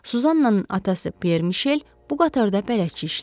Suzannanın atası Pierre Michel bu qatarda bələdçi işləyirdi.